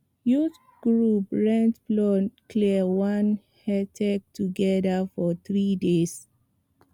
youth group rent plow clear one hectare together for three days